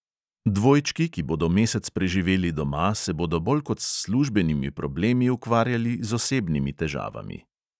Dvojčki, ki bodo mesec preživeli doma, se bodo bolj kot s službenimi problemi ukvarjali z osebnimi težavami.